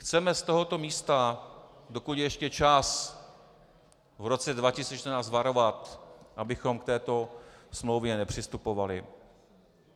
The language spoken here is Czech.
Chceme z tohoto místa, dokud je ještě čas, v roce 2014 varovat, abychom k této smlouvě nepřistupovali.